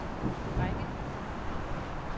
række